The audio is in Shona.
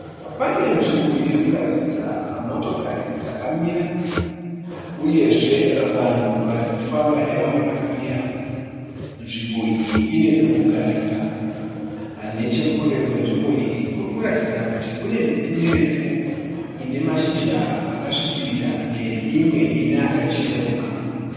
Pane nzvimbo irikuratidza motokari dzakamira. Uyezve vanhu varikufamba nevamwe vakamira. Nzvimbo iyi ine pekugarira. Nechekure kwenzvimbo iyi kune miti mirefu ine mashizha akasvibirira neimwe ine akachenuruka.